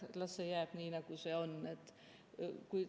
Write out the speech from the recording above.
Las see jääb nii, nagu see on.